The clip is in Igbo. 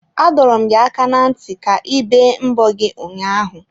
Adọrọ m gị aka na nti ka i bee mbọ gị ụnyaahụ!